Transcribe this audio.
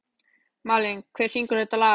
Malen, hver syngur þetta lag?